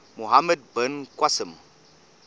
muhammad bin qasim